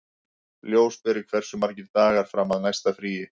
Ljósberi, hversu margir dagar fram að næsta fríi?